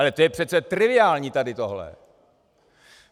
Ale to je přece triviální, tady tohle.